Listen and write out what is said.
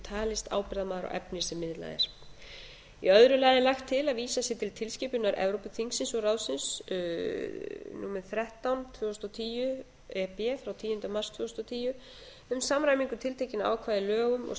talist ábyrgðarmaður á efni sem miðlað er í öðru lagi er lagt til að að vísað sé til tilskipunar evrópuþingsins og ráðsins tvö þúsund og tíu þrettán e b frá tíunda mars tvö þúsund og tíu um samræmingu tiltekinna ákvæða í lögum og